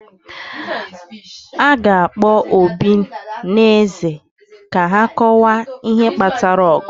a ga-akpọ obi na eze ka ha kọwaa ihe kpatara ọgụ